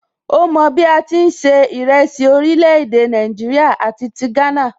Ó mọ bí a ti ń se ìrẹsì orílè èdè Nàìjíríà àti ti Ghana